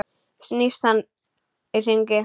Snýst með hann í hringi.